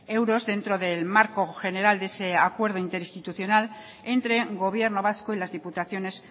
euros dentro del marco general de ese acuerdo interinstitucional entre gobierno vasco y las diputaciones